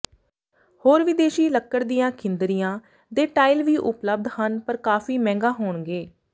ਹੋਰ ਵਿਦੇਸ਼ੀ ਲੱਕੜ ਦੀਆਂ ਖਿੰਦਰੀਆਂ ਦੇ ਟਾਇਲ ਵੀ ਉਪਲਬਧ ਹਨ ਪਰ ਕਾਫ਼ੀ ਮਹਿੰਗਾ ਹੋਣਗੇ